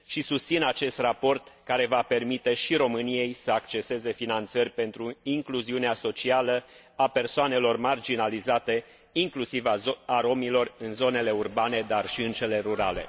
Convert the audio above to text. Susțin acest raport care va permite și României să acceseze finanțări pentru incluziunea socială a persoanelor marginalizate, inclusiv a romilor în zonele urbane, dar și în cele rurale.